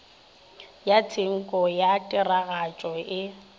ya tshenko ya tiragatšo e